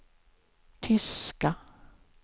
tyska